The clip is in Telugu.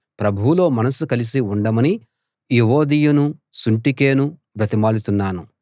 ప్రభువులో మనసు కలిసి ఉండమని యువొదియను సుంటుకేను బ్రతిమాలుతున్నాను